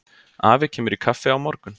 Afi kemur í kaffi á morgun.